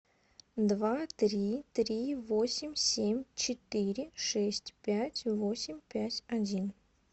два три три восемь семь четыре шесть пять восемь пять один